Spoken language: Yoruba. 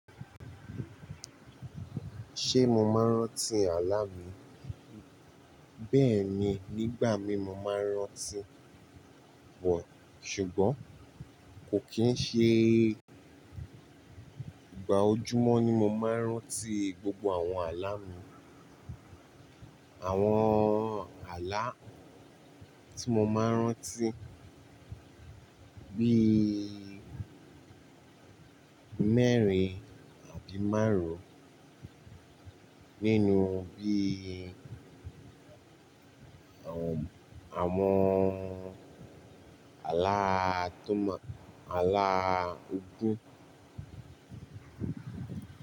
Ṣé mo máa ń rántí àlá mi? Bẹ́ẹ̀ni, nígbà mí mo máa ń rántí, bọ, ṣùgbọ́n kò kì í ṣe ìgbà ojúmọ́ ni mo máa ń rántí gbogbo àwọn àlá mi. Àwọn àlá tí mo máa ń rántí bí i mẹ́rin àbí márùn-ún nínú bí i àwọn, àwọn àlá tó mọ, àlá ogún.